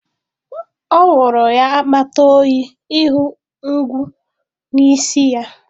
Ọ wụrụ ya akpata oyi ịhụ ngwu n'isi ya